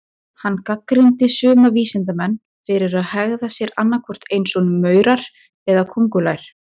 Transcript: Hann gagnrýndi suma vísindamenn fyrir að hegða sér annað hvort eins og maurar eða köngulær.